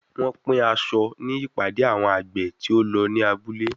Wọ́n pín aṣọ ní ìpàdé àwọn àgbè tí ó lọ ní abúlé.